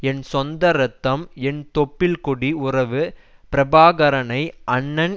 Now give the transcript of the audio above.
என் சொந்த ரத்தம் என் தொப்புள் கொடி உறவு பிரபாகரனை அண்ணன்